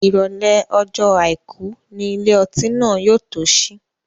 Ìrọ̀lẹ́ ọjọ́ àìkú ni ilé ọtí náà yóò tó sí.